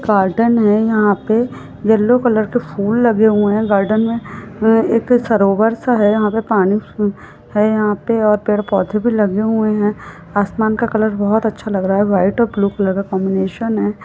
Garden है यहाँपे yellow colour के फूल लगे हुए है। गार्डन में हम्म एक सरोवर सा है यहाँ पे और कुछ पानी है यहाँ पे और भी पेड़-पौधे आसमान का कलर वाइट कलर का कॉम्बिनेशन है।